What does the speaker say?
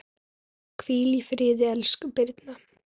Hvíl í friði, elsku Birna.